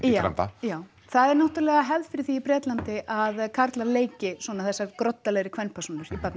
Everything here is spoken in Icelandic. illræmda já það er náttúrulega hefð fyrir því í Bretlandi að karlar leiki svona þessar groddalegri kvenpersónur í